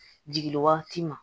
Jigin wagati ma